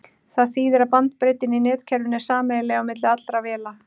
Það þýðir að bandbreiddin í netkerfinu er sameiginleg á milli allra véla.